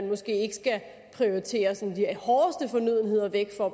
måske ikke skal prioritere de hårdeste fornødenheder væk for